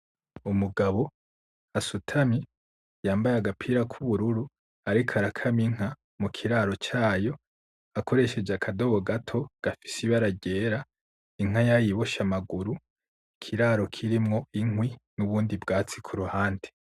Umugabo asutamye yambaye agapira kubururu ariko arakama Inka mu kiraro cayo akoresheje akadobo gato gafise ibara ryera Inka yayiboshe amaguru, ikiraro kirimo inkwi n'ubundi bwatsi kuruhande.